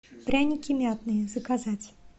пряники мятные заказать